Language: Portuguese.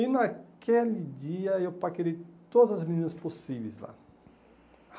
E naquele dia, eu paquerei todas as meninas possíveis lá.